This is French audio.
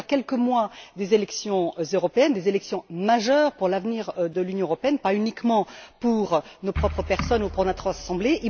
Nous sommes à quelques mois des élections européennes, élections majeures pour l'avenir de l'Union européenne, pas uniquement pour nos propres personnes et pour notre Assemblée.